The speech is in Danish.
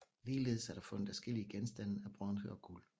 Ligeledes er der fundet adskillige genstande af bronze og guld